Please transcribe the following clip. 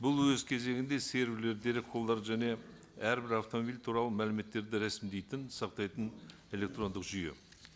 бұл өз кезегінде дерекқорлар және әрбір автомобиль туралы мәліметтерді рәсімдейтін сақтайтын электрондық жүйе